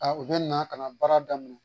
u bɛ na ka na baara daminɛ